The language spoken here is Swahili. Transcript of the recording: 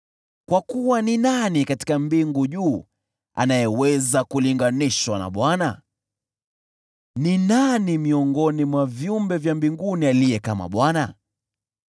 Kwa kuwa ni nani katika mbingu anayeweza kulinganishwa na Bwana ? Ni nani miongoni mwa viumbe vya mbinguni aliye kama Bwana ?